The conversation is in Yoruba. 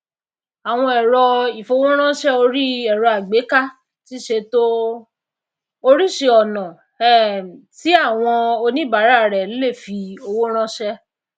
áwon èrọ ìfowóránsè orí èrò àgbééká ti sèto orísisíri ònà um tí áwon oníbàárà rè le fi owó ránsé